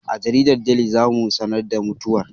A jaridar Deli za mu sanar da mutuwar